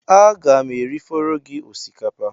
Aga m erifọrọ gị osikapa?